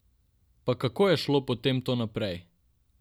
Pa kako je šlo potem to naprej?